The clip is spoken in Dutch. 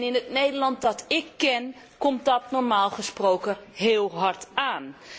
In het Nederland dat ík ken, komt dat normaal gesproken heel hard aan.